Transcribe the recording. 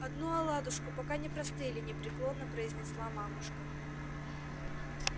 одну оладушку пока не простыли непреклонно произнесла мамушка